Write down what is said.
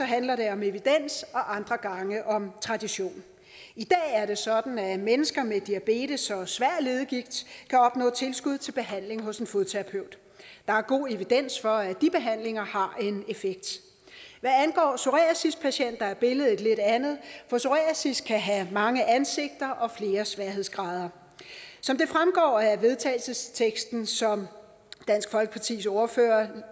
handler det om evidens og andre gange om tradition i dag er det sådan at mennesker med diabetes og svær leddegigt kan opnå tilskud til behandling hos en fodterapeut der er god evidens for at de behandlinger har en effekt hvad angår psoriasispatienter er billedet et lidt andet for psoriasis kan have mange ansigter og flere sværhedsgrader som det fremgår af vedtagelsesteksten som dansk folkepartis ordfører